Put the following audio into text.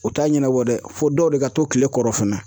O t'a ɲɛnabɔ dɛ, fo dɔw de ka to kile kɔrɔ fana.